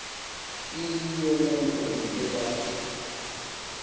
iyiloo nto ngebelaph